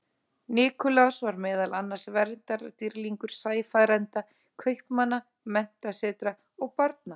Nikulás var meðal annars verndardýrlingur sæfarenda, kaupmanna, menntasetra og barna.